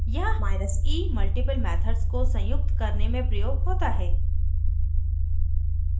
यहाँ e multiple methods को संयुक्त करने में प्रयोग होता है